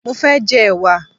Mo fé jẹ ẹ̀wà